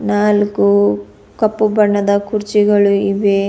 ನಾಲ್ಕು ಕಪ್ಪು ಬಣ್ಣದ ಕುರ್ಚಿಗಳು ಇವೆ.